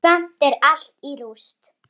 Samt er allt í rúst.